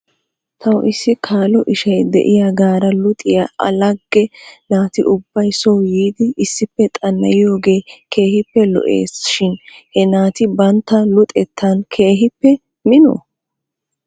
Taw issi kaalo ishay de'iyaagaara luxiyaa a lagge naati ubbay soo yiidi issippe xana'aiyoogee keehippe lo'es shin he naati bantta luxettan keehippe minoo?